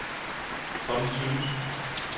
Conni Tønnesen